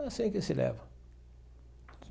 É assim que se leva.